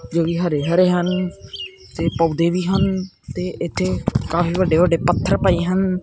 ਜੋ ਹਰੇ ਹਰੇ ਹਨ ਤੇ ਪੌਦੇ ਵੀ ਹਨ ਤੇ ਇਥੇ ਕਾਫੀ ਵੱਡੇ ਵੱਡੇ ਪੱਥਰ ਪਏ ਹਨ।